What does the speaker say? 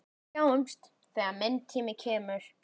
Sjáumst þegar minn tími kemur.